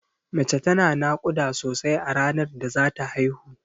Mace tana naƙuda sosai a ranar da zata haihu.